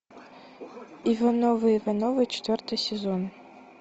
ивановы ивановы четвертый сезон